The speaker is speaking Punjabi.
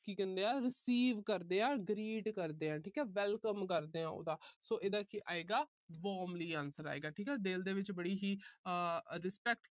ਕੀ ਕਹਿੰਦੇ ਆ receive ਕਰਦੇ ਆ। greet ਕਰਦੇ ਆ। ਠੀਕ ਆ welcome ਕਰਦੇ ਆ ਉਹਦਾ। so ਇਹਦਾ ਕੀ ਆਏਗਾ warmly answer ਆਏਗਾ। ਦਿਲ ਦੇ ਵਿੱਚ ਬੜੀ ਹੀ respect